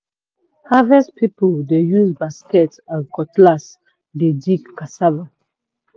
harvest people dey use basket and cutlass take dig cassava